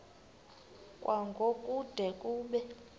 kwango kude kube